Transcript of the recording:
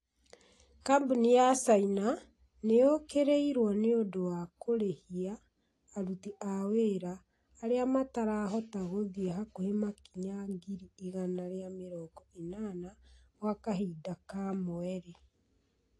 kambuni ya caina nĩ yũkĩrĩirwo nĩũndũ wa kũrĩhia aruti a wĩra arĩa matarahota gũthiĩ hakuhĩ makinya ngiri igana ria mĩrongo ĩnana gwa kahinda ka mweri